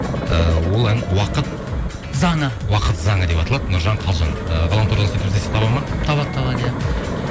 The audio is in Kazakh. ыыы ол ән уақыт заңы уақыт заңы деп аталады нұржан қалжан ы ғаламтордан сөйтіп іздесе табады ма табады табады иә